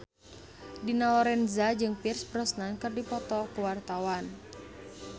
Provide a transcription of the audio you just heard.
Dina Lorenza jeung Pierce Brosnan keur dipoto ku wartawan